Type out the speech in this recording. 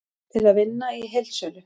Til að vinna í heildsölu